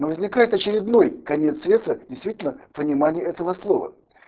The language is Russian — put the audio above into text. ну возникает очередной конец света действительно в понимании этого слова